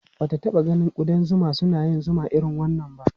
Ba ta taɓa ganin ƙudan zuma suna yin zuma irin wannan ba.